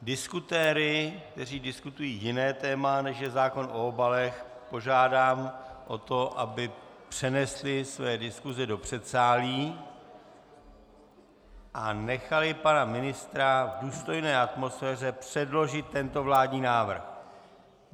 Diskutéry, kteří diskutují jiné téma, než je zákon o obalech, požádám o to, aby přenesli své diskuse do předsálí a nechali pana ministra v důstojné atmosféře předložit tento vládní návrh.